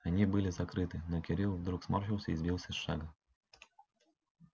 они были закрыты но кирилл вдруг сморщился и сбился с шага